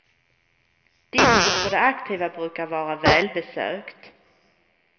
Diskot för de aktiva brukar vara välbesökt.